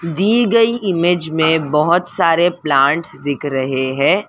दी गई इमेज में बहुत सारे प्लांट्स दिख रहे हैं।